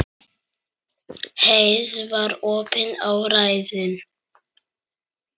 Heiða var opin og ræðin.